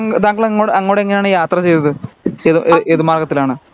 താൻ താങ്കൾ അങ്ങോട്ട് എങ്ങിനെയാണ് യാത്ര ചെയ്തത് ഏത് മാർഗത്തിലാണ്